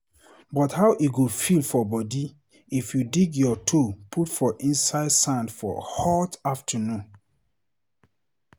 But how e go feel for body if you dig your toe put for inside sand for hot afternoon?